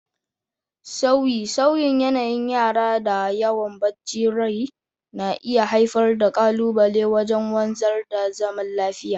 Sauye-sauyen yanayin yara da yawan bacin rai na iya haifar da kalubale wajen wanzar da zaman lafiya.